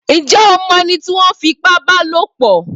Ǹjẹ́ o mọ ẹni tí ó ń fi ipá ba lòpọ̀?